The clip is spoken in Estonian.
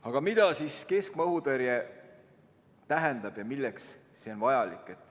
Aga mida siis keskmaa õhutõrje tähendab ja milleks see on vajalik?